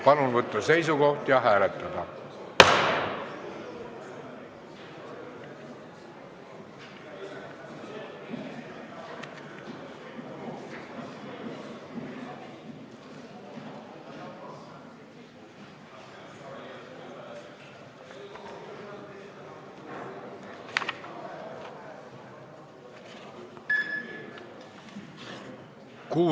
Palun võtta seisukoht ja hääletada!